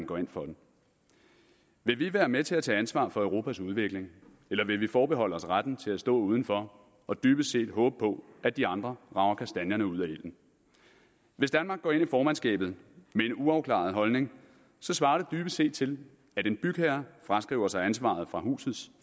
går ind for den vil vi være med til at tage ansvar for europas udvikling eller vil vi forbeholde os retten til at stå uden for og dybest set håbe på at de andre rager kastanjerne ud af ilden hvis danmark går ind i formandskabet med en uafklaret holdning svarer det dybest set til at en bygherre fraskriver sig ansvaret for husets